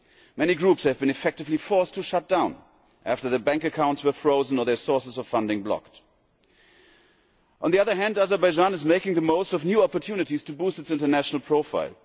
Many groups have been effectively forced to shut down after their bank accounts were frozen or their sources of funding blocked. On the other hand, Azerbaijan is making the most of new opportunities to boost its international profile.